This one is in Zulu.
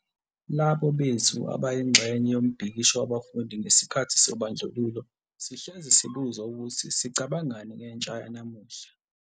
Labo bethu ababeyingxenye yombhikisho wabafundi ngesikhathi sobandlululo sihlezi sibuzwa ukuthi sicabangani ngentsha yanamuhla.